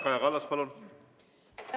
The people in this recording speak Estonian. Kaja Kallas, palun!